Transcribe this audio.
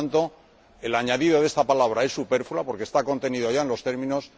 Por lo tanto, el añadido de esta palabra es superfluo porque está contenida ya en los términos.